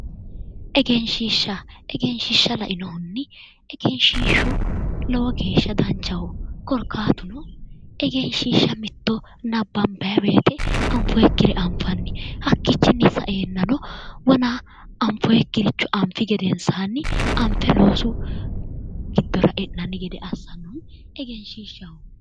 Egenshiishsha ,egenshiishsha lainohunni egenshiishu lowo geeshsha danchaho korkaatuno egenshishsha mitto nabbanbanni woyte anfoonikkire anfanni hakkichini saenanno wona anfoonikkiricho anfe loosu giddo e'nanni yinne assanbannihu egenshishshaho.